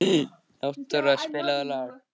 Náttúra, spilaðu lag.